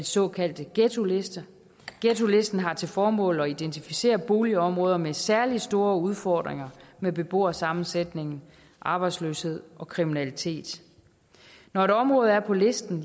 såkaldte ghettoliste ghettolisten har til formål at identificere boligområder med særlig store udfordringer med beboersammensætning arbejdsløshed og kriminalitet når et område er på listen